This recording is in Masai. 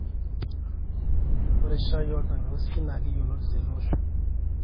ore shaai oltangausi naa yioloti tele osho